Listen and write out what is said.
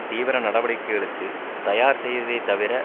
தீவிர நடவடிக்கைகளுக்கு தயார் செய்வதை தவிர